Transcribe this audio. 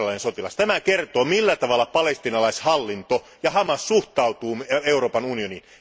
Tämä kertoo, millä tavalla palestiinalaishallinto ja Hamas suhtautuvat Euroopan unioniin.